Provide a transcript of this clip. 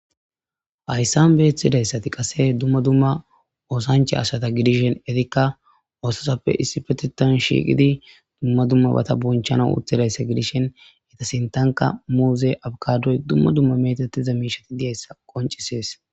Hayssan beethidayssati qase dumma dumma oosanche asata gidishen etikka oososappe issi fetetan shiiqidi dumma dumma bata bonchana utidayssa gidishen eta sintanka muuze abkadoy dumma dumma metatiza miishati de'izayssassa qoncisees.